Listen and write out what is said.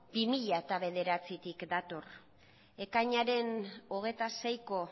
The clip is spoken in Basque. bi mila bederatzitik dator ekainaren hogeita seiko